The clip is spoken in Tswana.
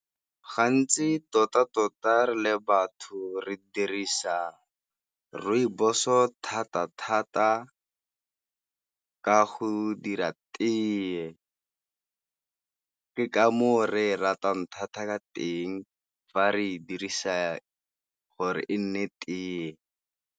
Gantsi tota-tota re le batho re dirisa Rooibos-o thata-thata ka go dira tee. Ke ka foo re e ratang thata ka teng fa re e dirisa gore e nne tee.